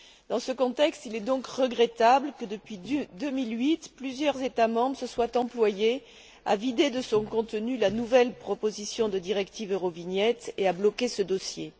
Dans ce contexte, il est donc regrettable que, depuis 2008, plusieurs États membres se soient employés à vider de son contenu la nouvelle proposition de directive Eurovignette et à bloquer ce dossier.